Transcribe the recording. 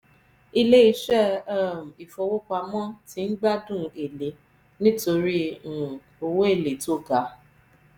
ilé iṣẹ́ um ìfowó-pamọ́ ti ń gbádùn èlé nítorí um owó èlé tó ga.